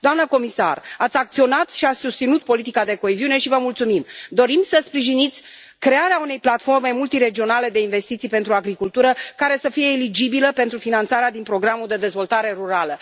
Doamnă comisar, ați acționat și ați susținut politica de coeziune și vă mulțumim. Dorim să sprijiniți crearea unei platforme multiregionale de investiții pentru agricultură care să fie eligibilă pentru finanțarea din programul de dezvoltare rurală.